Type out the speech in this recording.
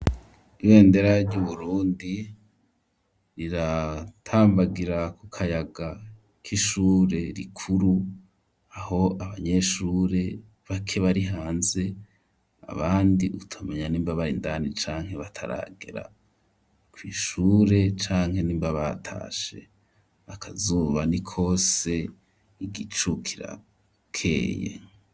Ibendera ry'Uburundi, riratambagira ku kayaga k'ishure rikuru, aho abanyeshure bake bari hanze, abandi utamenya nimba bari indani canke bataragera kw'ishure, canke nimba batashe, akazuba ni kose igicu kirakeye.